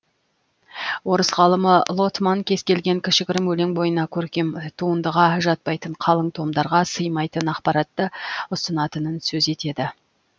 орыс ғалымы лотман кез келген кішігірім өлең бойына көркем туындыға жатпайтын қалың томдарға сыймайтын ақпаратты ұсынатынын сөз етеді